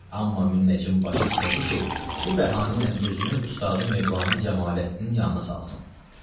Amma münəccim başı istədi ki, bu bəhanə ilə özünü ustadı Mövlana Cəmaləddin yanına salsın.